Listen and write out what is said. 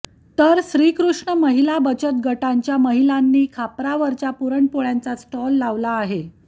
तर श्रीकृष्ण महिला बचतगटांच्या महिलांनी खापरावरच्या पुरण पोळ्यांचा स्टॉल लावला आहे